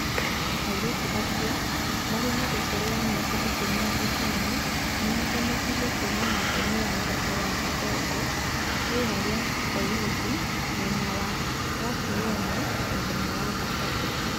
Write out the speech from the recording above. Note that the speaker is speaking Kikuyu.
Airĩtu acio marĩ na ũkũrũ wa mĩaka ikũmi na ĩtano nĩ mahonokirio kuuma nyũmba-inĩ ya thoko ya Kadongo, itũra rĩa kowidi mwena wa Rachuonyo mũthenya wa Thabatũ.